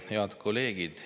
Head kolleegid!